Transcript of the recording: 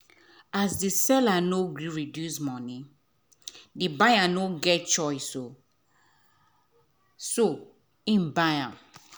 as the seller nor gree reduce money the buyer nor get choice so he buy am.